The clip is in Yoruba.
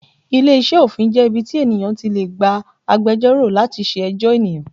Ilé iṣẹ́ òfin jẹ́ ibi tí ènìyàn ti lè gba agbẹjọ́rò láti ṣe ẹjọ́ ènìyàn.